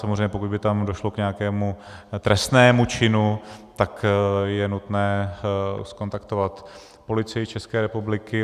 Samozřejmě pokud by tam došlo k nějakému trestnému činu, tak je nutné zkontaktovat Policii České republiky.